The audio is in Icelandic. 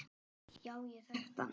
Já, ég þekkti hann.